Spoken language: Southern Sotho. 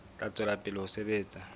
tla tswela pele ho sebetsa